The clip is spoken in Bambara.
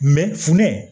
funteni